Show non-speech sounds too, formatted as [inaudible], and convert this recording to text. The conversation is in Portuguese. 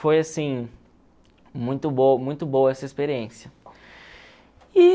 Foi, assim, muito [unintelligible] muito boa essa experiência.